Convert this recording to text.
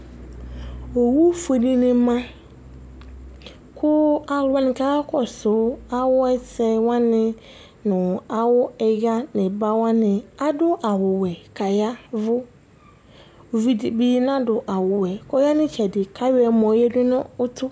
owu fue dɩnɩ ma ku aluwanɩ kakɔsu awʊ ɛsɛwanɩ nʊ awʊ iɣa nʊ ɩbawanɩ, adʊ awʊ wɛ ka yavʊ, uvɩ dɩbɩ nadʊ awʊ wɛ yɛ kɔ ya nʊ ɩtsɛdɩ kayɔ ɛmɔ yǝdʊ nʊ ʊtʊ